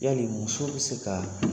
Yali muso bɛ se ka